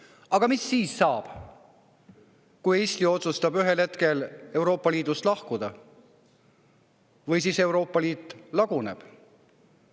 Aga mis siis saab, kui Eesti otsustab ühel hetkel Euroopa Liidust lahkuda või Euroopa Liit laguneb?